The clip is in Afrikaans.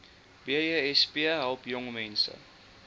besp help jongmense